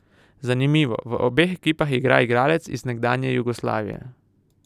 Zanimivo, v obeh ekipah igra igralec iz nekdanje Jugoslavije.